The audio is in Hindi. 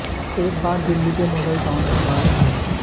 एक बार दिल्ली के मॉडल टाउन में बाढ़ आई